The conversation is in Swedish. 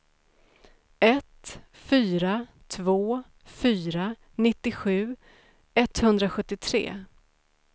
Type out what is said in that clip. ett fyra två fyra nittiosju etthundrasjuttiotre